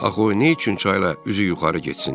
Axı o neyçün çayla üzü yuxarı getsin?